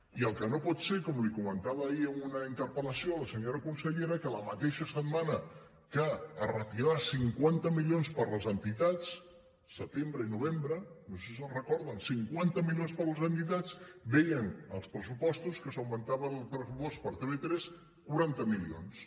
i el que no pot ser com li comentava ahir en una interpel·lació a la senyora consellera és que la mateixa setmana que es retiraven cinquanta milions per a les entitats setembre i novembre no sé si se’n recorden cinquanta milions per a les entitats vèiem als pressupostos que s’augmentava el pressupost per a tv3 quaranta milions